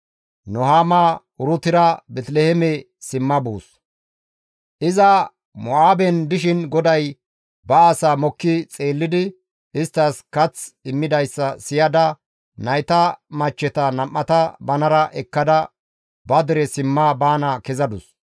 Iza Mo7aaben dishin GODAY ba asaa mokki xeellidi isttas kath immidayssa siyada nayta machcheta nam7ata banara ekkada ba dere simma baana kezadus.